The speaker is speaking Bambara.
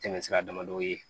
Tɛmɛsira damadɔw ye